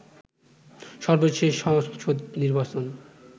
সর্বশেষ সংসদ নির্বাচন